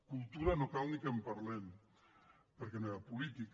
cultura no cal ni que en parlem perquè no hi ha política